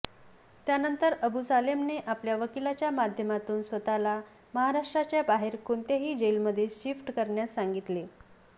त्यानंतर अबू सालेमने आपल्या वकीलाच्या माध्यमातून स्वतःला महाराष्ट्राच्या बाहेर कोणत्याही जेलमध्ये शिफ्ट करण्यास सांगितले